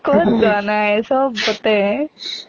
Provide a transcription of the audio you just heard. কʼত যোৱা নাই, চবতে